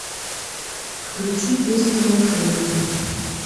включи песню блатуем